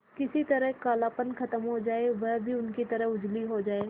किसी तरह कालापन खत्म हो जाए और वह भी उनकी तरह उजली हो जाय